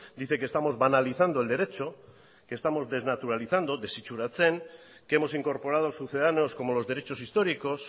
dice que estamos analizando el derecho que estamos desnaturalizando desitsuratzen que hemos incorporado sucedamos como los derechos históricos